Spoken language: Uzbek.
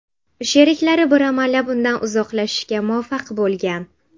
Sheriklari bir amallab undan uzoqlashishga muvaffaq bo‘lgan.